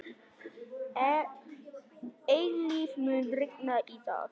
Eilíf, mun rigna í dag?